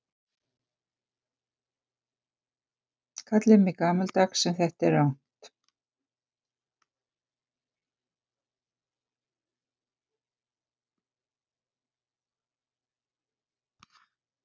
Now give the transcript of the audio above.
Kallið mig gamaldags en þetta er rangt.